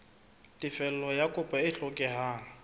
tefello ya kopo e hlokehang